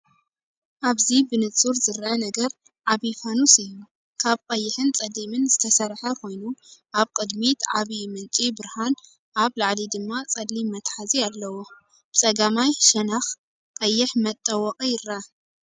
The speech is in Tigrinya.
ኣብዚ ብንጹር ዝርአ ነገር ዓቢ ፋኑስ እዩ። ካብ ቀይሕን ጸሊምን ዝተሰርሐ ኮይኑ፡ ኣብ ቅድሚት ዓቢ ምንጪ ብርሃን፡ ኣብ ላዕሊ ድማ ጸሊም መትሓዚ ኣለዎ። ብጸጋማይ ሸነኽ ቀይሕ መጠወቒ ይርአ።